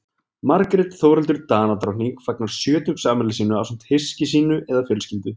margrét þórhildur danadrottning fagnar sjötugsafmæli sínu ásamt hyski sínu eða fjölskyldu